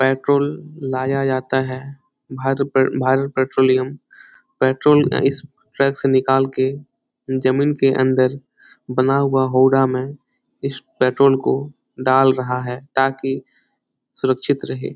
Petrol लाया जाता है। भारत पे भारत पेट्रोलियम पेट्रोल इस ट्रक से निकाल के जमीन के अंदर बना हुआ होडा में इस पेट्रोल को डाल रहा है ताकि सुरक्षित रहे।